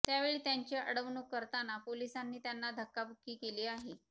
त्यावेळी त्यांची अडवणूक करताना पोलिसांनी त्यांना धक्काबुक्की केली आहे